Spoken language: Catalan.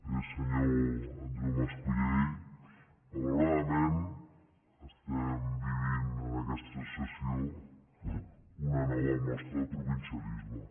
bé senyor andreu mas colell malauradament estem vivint en aquesta sessió una nova mostra de provincialisme